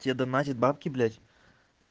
тебе донатят бабки блядь